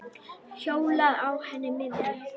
Hjólaði á henni miðri.